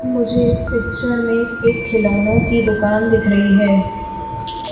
मुझे इस पिक्चर में एक खिलौनों की दुकान दिख रही है।